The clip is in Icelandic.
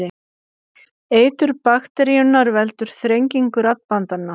Eitur bakteríunnar veldur þrengingu raddbandanna.